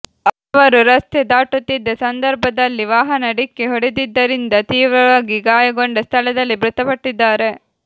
ಅವರು ರಸ್ತೆ ದಾಟುತ್ತಿದ್ದ ಸಂದರ್ಭದಲ್ಲಿ ವಾಹನ ಡಿಕ್ಕಿ ಹೊಡೆದಿದ್ದರಿಂದ ತೀವ್ರವಾಗಿ ಗಾಯಗೊಂಡ ಸ್ಥಳದಲ್ಲೇ ಮೃತಪಟ್ಟಿದ್ದಾರೆ